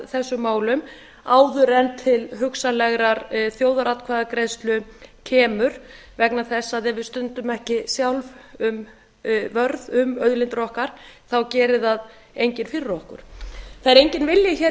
þessum málum áður en til hugsanlegrar þjóðaratkvæðagreiðslu kemur vegna þess að ef við stöndum ekki gjöld vörð um auðlindir okkar þá gerir það enginn fyrir okkur það er enginn vilji